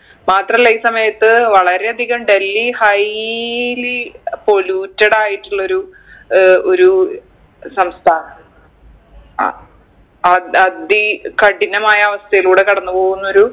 മാത്രല്ല ഈ സമയത്ത് വളരെയധികം ഡൽഹി highly polluted ആയിട്ടുള്ളൊരു ഏർ ഒരു സംസ്ഥാ ആഹ് അ അതി കഠിനമായ അവസ്ഥയിലൂടെ കടന്ന് പോവുന്നൊരു